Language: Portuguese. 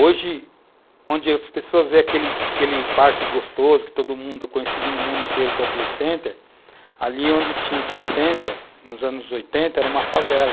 Hoje, onde as pessoas veem aquele aquele parque gostoso, que todo mundo, conhecido no mundo inteiro como Playcenter, ali onde tinha o Playcenter, nos anos 1980, era uma favela.